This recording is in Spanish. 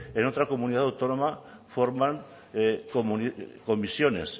en otra comunidad autónoma forman comisiones